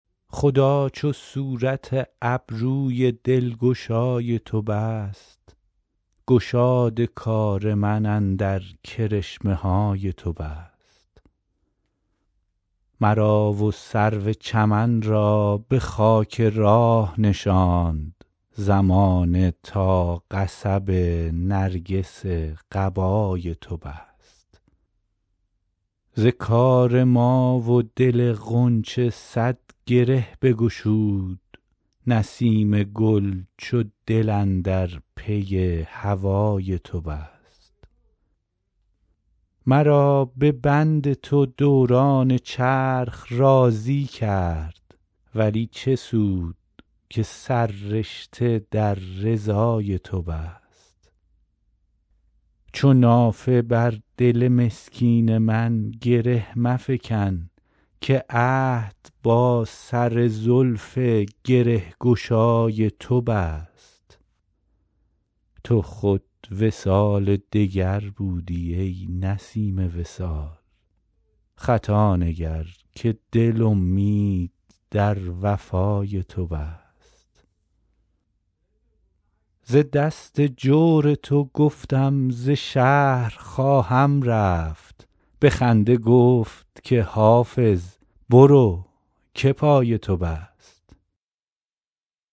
خدا چو صورت ابروی دلگشای تو بست گشاد کار من اندر کرشمه های تو بست مرا و سرو چمن را به خاک راه نشاند زمانه تا قصب نرگس قبای تو بست ز کار ما و دل غنچه صد گره بگشود نسیم گل چو دل اندر پی هوای تو بست مرا به بند تو دوران چرخ راضی کرد ولی چه سود که سررشته در رضای تو بست چو نافه بر دل مسکین من گره مفکن که عهد با سر زلف گره گشای تو بست تو خود وصال دگر بودی ای نسیم وصال خطا نگر که دل امید در وفای تو بست ز دست جور تو گفتم ز شهر خواهم رفت به خنده گفت که حافظ برو که پای تو بست